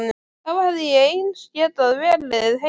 Þá hefði ég eins getað verið heima.